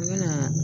N bɛna